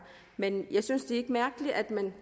men jeg synes det er mærkeligt at man